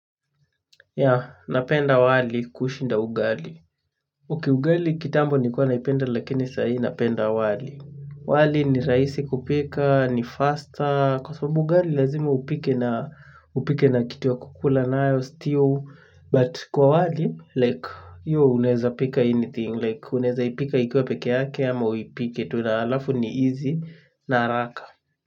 Ya, napenda wali kushinda ugali. Okay ugali kitambo nilikuwa naipenda lakini sahii napenda wali. Wali ni rahisi kupika, ni faster, kwa sababu ugali lazima upike na kitu ya kukula nayo stew. But kwa wali like hiyo unaweza pika anything like unawezaipika ikiwa peke yake ama uipike tu na halafu ni easy na haraka.